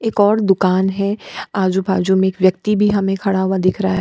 एक और दुकान है आजू-बाजू में एक व्यक्ति भी हमे खड़ा हुआ दिखाई दे रहा है।